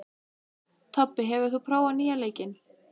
Tobbi, hefur þú prófað nýja leikinn?